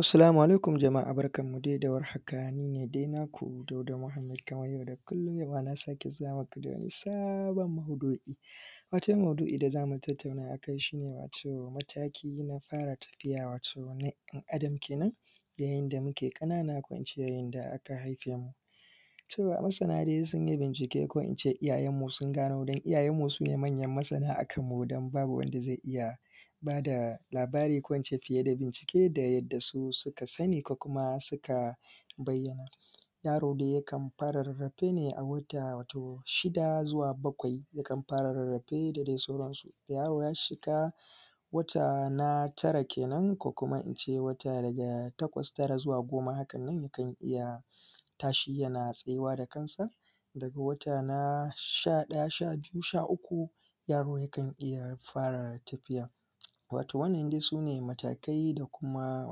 Assalamu alaikum jama’a, barkanmu de da warhaka, ni ne de naku Dauda muhammed kamar yau da kullum, yau ma na sake zuwa muku da wani sabon maudu’i. Wata maudu’i da za mu tattauna a kai shi ne, wato mataki na fara tafiya, wato na ɗan adam kenan, yayin da muke ƙanana ko in ce yayin da aka haife mu. To, masana de sun yi bincike ko in ce iyayenmu sun gano, don iyayenmu su ne manyan masana a kanmu don babu wanda ze iya ba da labara ko in ce fiye da bincike da yadda su suka sani ko kuma suka bayyana. Yaro de yakan fara rarrafe ne a wata wato shida zuwa bakwai, yakan fara rarrafe da de sauran su. Da yaro ya shiga wata na tara kenan, ko kuma in ce wata daga takwas, tara zuwa goma hakan nan, yakan iya tashi yana tsayuwa da kansa. Daga wata na sha ɗaya sha biyu sha uku, yaro yakan iya fara tafiya, wato wannan de sune matakai da kuma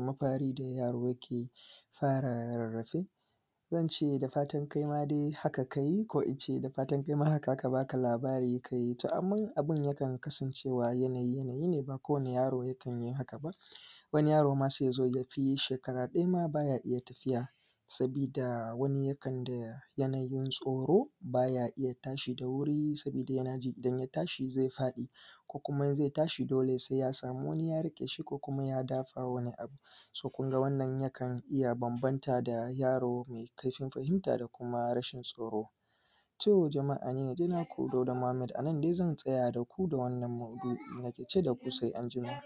mafari da yaro yake fara rarrafe ko in ce da fatan kai ma de haka ka yi, ko in ce da fatan kai ma haka aka ba ka labara ka yi. To, amman abin yakan kasancewa yanayi-yanayi ne, ba kowane yaro yakan yi haka ba, wani yaro ma se ya zo ya fi shekara ɗaya ma ba ya iya tafiya. Sabida, wani yakanda yanayin tsoro, bay a iya tashi da wuri, sabida yana ji idan ya tashi ze faɗi, kuma in ze tashi, dole se ya sami wani ya riƙe shi ko kuma ya dafa wani abu. “So”, kun ga wannan yakan iya bambanta da yaro me kaihin fahinta da kuma rashin tsoro. To, jama’a ni ne de naku Dauda muhammed, a nan de zan tsaya da ku da wannan maudu’i nake ce da ku, se anjima.